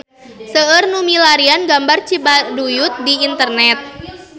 Seueur nu milarian gambar Cibaduyut di internet